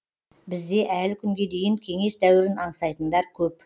бізде әлі күнге дейін кеңес дәуірін аңсайтындар көп